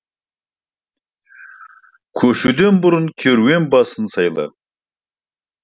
көшуден бұрын керуен басыңды сайла